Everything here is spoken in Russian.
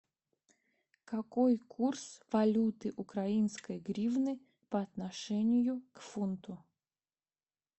какой курс валюты украинской гривны по отношению к фунту